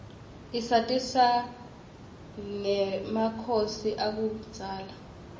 isatisa rgemakhosi akubzala